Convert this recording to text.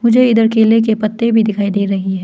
मुझे इधर केले के पत्ते भी दिखाई दे रहे हैं।